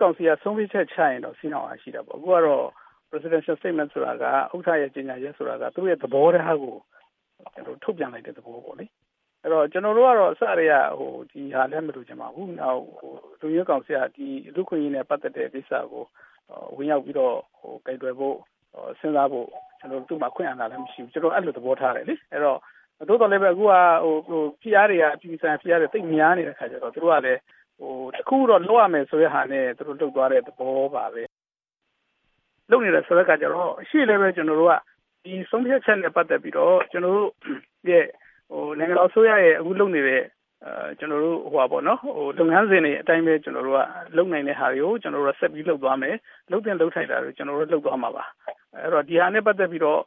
ကောင်စီက ဆုံးဖြတ်ချက်ချရင်တော့စည်းနှောင်အား ရှိတယ်ပေါ့။ အခုကတော့ Presidential Statement ဆိုတာက ဥက္ကဋ္ဌရဲ့ ကြေညာချက်ဆိုတာက သူ့သဘောထားကို ထုတ်ပြန်လိုက်တဲ့ သဘောပေါ့လေ။ ကျနော်တို့ကတော့ အစကတည်းကတော့ ဒီဟာကို မလိုချင်ပါဘူး။ နောက်လုံခြုံရေးကောင်စီက လူ့အခွင့်အရေးနဲ့ ပတ်သက်တဲ့ ကိစ္စကို ဝင်ရောက်ပြီးတော့ ကိုင်တွယ်ဖို့ စဉ်းစားဖို့ အခွင့်အာဏာလည်းမရှိဘူးဆိုတော့ အဲလိုသဘောထားတယ်လေ။ သို့သော်လည်း အခုက အပြည်ပြည်ဆိုင်ရာ ဖိအားတွေကတအားများနေတဲ့အခါကျတော့ တခုခုတော့လုပ်ရမယ်ဆိုတဲ့ ဟာနဲ့ သူတို့လုပ်သွားတဲ့ သဘောပါပဲ။ လုပ်နေတယ်ဆိုတဲ့အခါကျတော့ ကျနော်တို့က ဒီဆုံးဖြတ်ချက်နဲ့ပတ်သက်ပြီးတော့ နိုင်ငံတော်အစိုးရရဲ့ အခုလုပ်နေတဲ့ လုပ်ငန်းစဉ်တွေအတိုင်းပဲ ကျနော်တို့က လုပ်နိုင်တဲ့ဟာတွေကို ဆက်ပြီးတော့လုပ်သွားမယ် လုပ်သင့်လုပ်ထိုက်တာတွေကို ကျနော်တို့ဆက်ပြီးတော့ လုပ်သွားမှာပါ အဲဒီတော့ ဒီဟာနဲ့ ပတ်သက်ပြီးတော့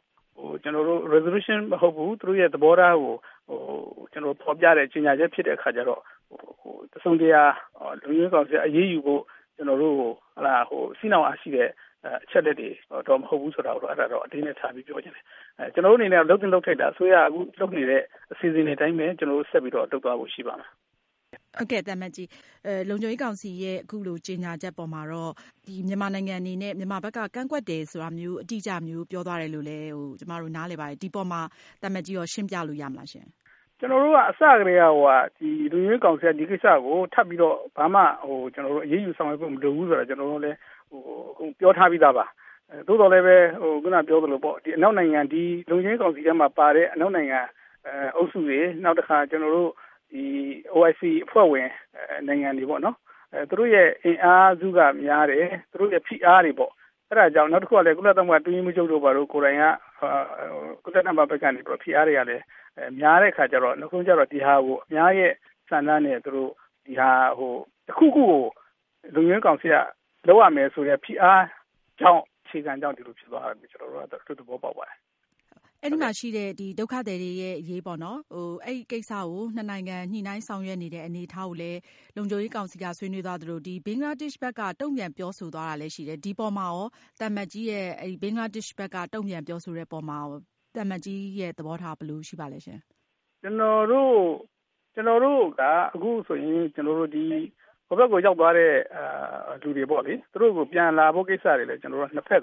ကျနော်တို့ Resolution မဟုတ်ဘူး သူ့သဘောထားကို ဖော်ပြတဲ့ ကြေညာချက်ဖြစ်တဲ့အခါကျတော့ တစုံတရာ လုံခြုံရေးကောင်စီကအရေးယူဖို့အတွက် အချက်အလက်တွေတော့ မဟုတ်ဘူးဆိုတဲ့ဟာတော့ အလေးအနက်ထားပြီးတော့ ပြောချင်တယ်။ ကျနော်တို့ လုပ်သင့်လုပ်ထိုက်တာတွေကို အစိုးရက အခု လုပ်နေတဲ့ အစီအစဉ်တွေအတိုင်းပဲ ဆက်ပြီးတော့ လုပ်သွားဖို့ ရှိပါတယ်။ မအင်ကြင်းနိုင်။ ။ ဟုတ်ကဲ့၊ လုံခြုံရေးကောင်စီရဲ့ အခုလိုကြေညာချက်အပေါ်မှာ မြန်မာနိုင်ငံအနေနဲ့ ကန့်ကွက်တယ်ဆိုတာ အတိအကျမျိုး ပြောသွားတယ်လို့ ကျမတို့နားလည်ပါတယ်။ ဒီအပေါ်မှာ သံအမတ်ကြီးရော ရှင်းပြလို့ရမလားရှင့်။ သံအမတ်ကြီး ဟောက်ဒိုဆွမ်း။ ။ ကျနော်တို့ အစကတည်းက လုံခြုံရေးကောင်စီက ဒီကိစ္စကို ထပ်ပြီးတော့ ဘာမှအရေးယူဆောင်ရွက်ဖို့မလိုဘူးဆိုတာကို ကျနော်တို့အကုန်ပြောထားပြီးသားပါ။ သို့သော်လည်း လုံခြုံရေးကောင်စီထဲမှာပါတဲ့ အနောက်နိုင်ငံအုပ်စုတွေ၊ OIC အဖွဲ့ဝင် နိုင်ငံတွေပေါ့နော် သူတို့အင်အားစုက များတယ်၊ နောက်သူတို့ရဲ့ ဖိအားတွေပေါ့ ၊ ကုလအတွင်းရေးမှူးချုပ်တို့ကိုယ်တိုင်က သူတို့ဘက်ကဖိအားတွေက များနေတဲ့ အခါကျတော့ နောက်ဆုံးတော့ ဒီဟာကို အများဆန္ဒနဲ့ တခုခုကို လုံခြုံရေးကောင်စီက လုပ်ရမယ် ဆိုတဲ့ ဖိအားအခြေခံကြောင့် ဒီလိုဖြစ်သွားတာ လို့ ကျနော်တို့ သဘောပေါက်ပါတယ်။ မအင်ကြင်းနိုင်။ ။အဲဒီမှာ ရှိတဲ့ ဒုက္ခသည်တွေရဲ့အရေး အဲဒီကိစ္စကို ၂ နိုင်ငံ ညှိနှိုင်းဆောင်ရွက်နေတဲ့အနေအထားကို လုံခြုံရေးကောင်စီက ဆွေးနွေးသွားသလို ဘင်္ဂလားဒေ့ရှ်ဘက်က တုံ့ပြန်ပြောဆိုသွားတာကိုလည်းရှိတယ်။ ဒီအပေါ်မှာ ဘင်္ဂလားဒေ့ရှ်ဘက်က တုံ့ပြန်ပြောဆိုသွားတဲ့အပေါ်မှာ သံအမတ်ကြီးရဲ့ သဘောထားဘယ်လိုရှိပါသလဲရှင့်။ သံအမတ်ကြီး ဟောက်ဒိုဆွမ်း ။ ။ကျနေ်ာတို့ကအခုဆိုရင် တဖက်နိုင်ငံကိုရောက် သွားတဲ့လူတွေကို ပြန်လာဖို့ ကိစ္စတွေလည်း ၂ ဖက်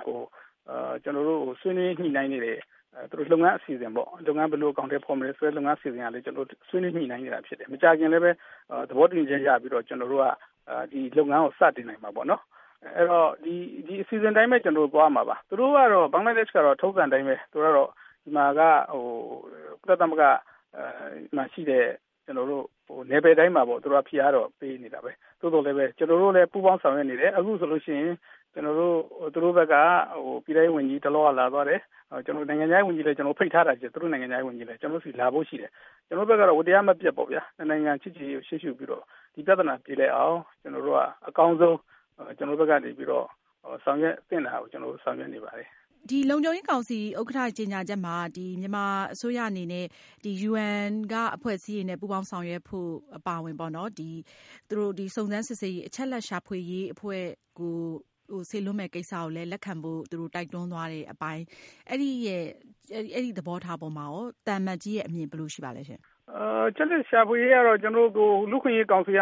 ဆွေးနွေးညှိနှိုင်းနေတယ်၊ ဘယ်လိုအကောင်အထည်ဖော်မလဲဆိုတဲ့ လုပ်ငန်းအစီအစဉ်တွေဆွေးနွေး ညှိနှိုင်းနေတာဖြစ်တယ်။ မကြာခင် သဘောတူညီချက်ရပြီးတော့ လုပ်ငန်းတွေကို စတင်နိုင်မှာပါ။ ဒီအစီအစဉ်အတိုင်းပဲ ကျနော်တို့ သွားမှာပါ။ ဘင်္ဂလားဒေ့ရှ်ဘက်က ထုံးစံအတိုင်းပဲ ကုလ မှာရှိတဲ့ နယ်ပယ်တိုင်းမှာ ဖိအားတော့ပေးနေတာပဲ။ သို့သော် ကျနော်တို့ ပူးပေါင်းဆောင်ရွက်နေတယ်။ အခုဆိုရင် သူတို့ဘက်က ပြည်ထဲရေးဝန်ကြီးတလောကပဲ လာသွားတယ်။ နိုင်ငံခြားရေးဝန်ကြီးကိုလည်း ဖိတ်ထားတာရှိတယ်၊ ကျနော်တို့ဆီ လာဖို့ရှိတယ်။ ကျနော်တို့ဘက်ကတော့ ဝတ်တရားမပြတ်ပေါ့နော် ၂ နိုင်ငံ ချစ်ကြည်ရေးကို ရှေးရှုပြီးတော့ ဒီပြဿနာ ပြေလည်အောင် ကျနော်တို့ဘက်ကတော့ အကောင်းဆုံးဆောင်ရွက်နိုင်တာကို ဆောင်ရွက်နေပါတယ်။ မအင်ကြင်းနိုင် ။ ။ လုံခြုံရေးကောင်စီဥက္ကဋ္ဌ ကြေညာချက်မှာ မြန်မာအစိုးရအနေနဲ့ UN အဖွဲ့အစည်းတွေနဲ့ ပူးပေါင်းဆောင်ရွက်ဖို့ အပါအဝင်ပေါ့နော် ၊ စုံစမ်းစစ်ဆေးရေး အချက်အလက်ရှာဖွေရေးအဖွဲ့ကို စေလွှတ်မယ့်ကိစ္စကိုလည်း လက်ခံဖို့ သူတို့တိုက်တွန်းသွားတယ်။ အဲဒီအပေါ်မှာရော သံအမတ်ကြီးရဲ့အမြင်ဘယ်လိုရှိပါသလဲ။ သံအမတ်ကြီး ဟောက်ဒိုဆွမ်း ။ ။အချက်အလက်ရှာဖွေရေးကတော့ လူ့အခွင့်အရေးကောင်စီက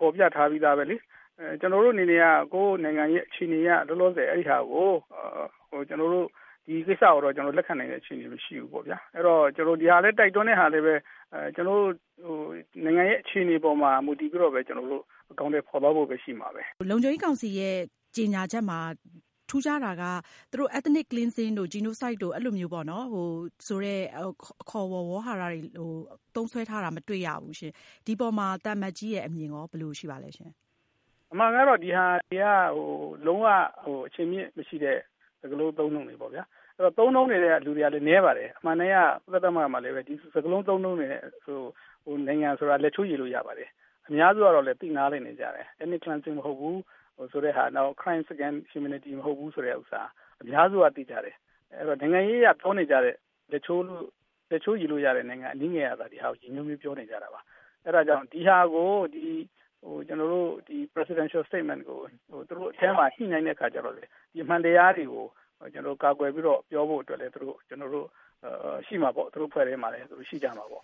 ဖော်ပြထားပြီးသားလေ။ ကျနော်တို့အနေနဲ့က ကိုယ့်နိုင်ငံအခြေအနေအရ လောလောဆယ်အဲဒါကို လက်ခံနိုင်တဲ့အခြေအနေမရှိဘူးပေါ့။ ဒီဟာလည်း တိုက်တွန်းတာကို ကျနော်တို့အနေနဲ့က ကိုယ့်နိုင်ငံအခြေအနေကို မူတည်ပြီးတော့မှပဲ အကောင်အထည်ဖော် သွားဖို့ပဲ ရှိမှာပဲ။ မအင်ကြင်းနိုင် ။ ။လုံခြုံရေးကောင်စီကြေညာချက်မှာ ထူးခြားတာက Ethnic cleansing တို့ Genocide တု့ိ ဆိုတဲ့ အခေါ်အဝေါ်တွေကို သုံးစွဲထားတာမတွေ့ရဘူး။ ဒီအပေါ်မှာ သံအမတ်ကြီးရဲ့ အမြင်ရော ဘယ်လိုရှိပါသလဲ။ သံအမတ်ကြီး ဟောက်ဒိုဆွမ်း ။ ။အမှန်ကတော့ ဒီဟာတွေက အခြေအမြစ်မရှိတဲ့ စကားလုံးအသုံးအနှုန်းတွေပေါ့ဗျာ။ သုံးတဲ့လူကလည်း နည်းပါတယ်။ အမှန်အတိုင်းက ကုလမှာလည်း ဒီစကားလုံးအသုံးအနှုန်း နိုင်ငံဆိုတာလည်း လက်ချိုးရေလို့ရပါတယ်။ အများစုကလည်း သိနားလည်နေကြတယ်။ Ethnic cleansing မဟုတ်ဘူး၊ Crime Against Humanity မဟုတ်ဘူးဆိုတာကို အများစုကလည်း သိကြတယ်။ နိုင်ငံရေးအရ ပြောနေကြတဲ့ လက်ချိုးရေလို့ရတဲ့ နိုင်ငံအနည်းငယ်ကသာ ဒီဟာကိုပြောနေကြတာပါ။ ဒီ Presidential Statement ကို သူတို့အထဲမှာ ဒီအမှန်တရားတွေကို ကာကွယ်ပြီးတော့ ပြောဖို့အတွက်လည်း ကျနော်တို့ ရှိမှာပေါ့၊ သူတို့အဖွဲ့ထဲမှာလည်း ရှိမှာပေါ့